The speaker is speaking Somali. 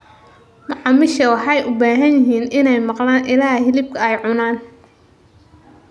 Macaamiisha waxay u baahan yihiin inay maqlaan ilaha hilibka ay cunaan.